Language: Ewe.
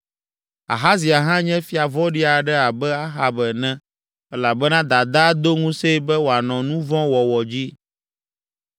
Ahazia hã nye fia vɔ̃ɖi aɖe abe Ahab ene elabena dadaa do ŋusẽe be wòanɔ nu vɔ̃ wɔwɔ dzi.